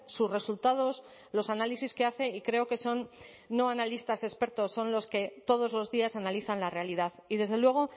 sus resultados los análisis que hace y creo que son no analistas expertos son los que todos los días analizan la realidad y desde luego